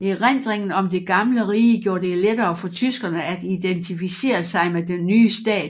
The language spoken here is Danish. Erindringen om det gamle rige gjorde det lettere for tyskerne at identificere sig med den nye stat